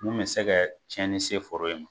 Mun bɛ se ka cɛnni se foro in ma.